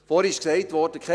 Vorhin wurde gesagt: «